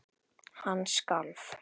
Hann skalf.